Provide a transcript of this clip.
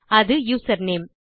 அது user name